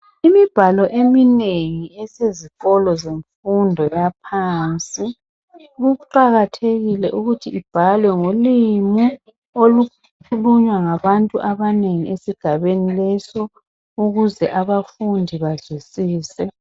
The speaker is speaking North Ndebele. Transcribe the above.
Imibhalo eminengi esezikolo zenfundo yaphansi . Kuqakathekile ukuthi ibhalwe ngolimi olukhulunywa ngabantu abanengi esigabeni leso ,ukuze abafundi bazwisise.